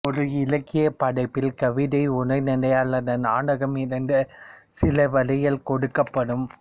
ஒரு இலக்கிய படைப்பில் கவிதை உரைநடை அல்லது நாடகம் இருந்து சில வரிகள் கொடுக்கப்படும்